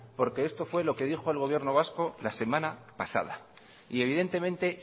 porque esto fue lo que dijo el gobierno vasco la semana pasada y evidentemente